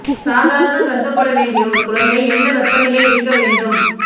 சாதாரண கருதப்பட வேண்டிய ஒரு குழந்தை என்ன வெப்பநிலை இருக்க வேண்டும்